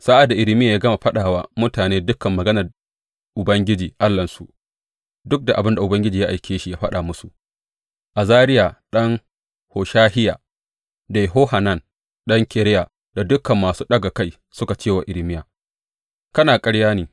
Sa’ad da Irmiya ya gama faɗa wa mutane dukan maganar Ubangiji Allahnsu, duk abin da Ubangiji ya aike shi ya faɗa musu, Azariya ɗan Hoshahiya da Yohanan ɗan Kareya da dukan masu ɗaga kai suka ce wa Irmiya, Kana ƙarya ne!